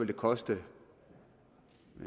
det koste